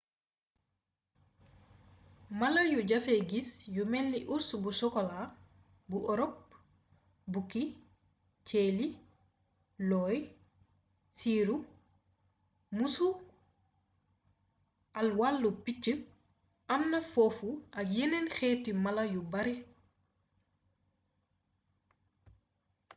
mala yu jafeee gis yu melni urs bu sokoolaa bu ëropë bukki ceeli looy siiru muusu àll wal picc am na foofu ak yeneen xeeti mala yu bare